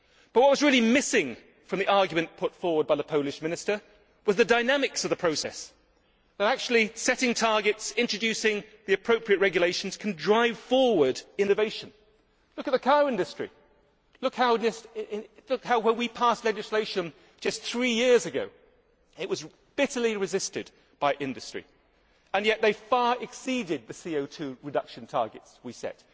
What was really missing from the argument put forward by the Polish Minister was that the dynamics of the process of actually setting targets and introducing the appropriate regulations can drive forward innovation. Look at the car industry look at how, when we passed legislation just three years ago, it was bitterly resisted by industry and yet they far exceeded the CO 2 reduction targets we set.